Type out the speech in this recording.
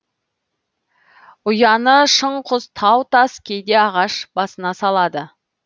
ұяны шың құз тау тас кейде ағаш басына салады